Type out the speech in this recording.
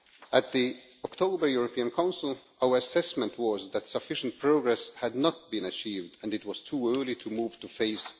At the October European Council, our assessment was that sufficient progress had not been achieved and it was too early to move to Phase